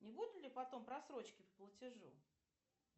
не будет ли потом просрочки по платежу